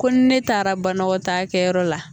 Ko ne taara banagɔtaa kɛyɔrɔ la.